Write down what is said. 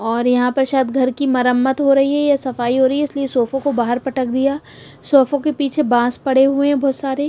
और यहां पर शायद घर की मरम्मत हो रही हैया सफाई हो रही है इसलिए सोफों को बाहर पटक दिया सोफों के पीछे बांस पड़े हुए हैं बहुत सारे।